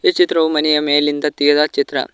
ಈ ಚಿತ್ರವು ಮನೆಯ ಮೇಲಿಂದ ತಗೆದ ಚಿತ್ರ.